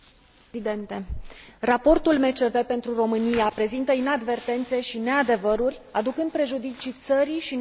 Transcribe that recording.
Raportul MCV pentru România prezintă inadvertențe și neadevăruri, aducând prejudicii țării și nouă, cetățenilor ei.